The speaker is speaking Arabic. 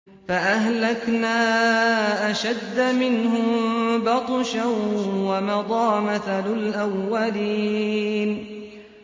فَأَهْلَكْنَا أَشَدَّ مِنْهُم بَطْشًا وَمَضَىٰ مَثَلُ الْأَوَّلِينَ